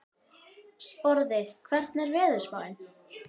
Sporði, hvernig er veðurspáin?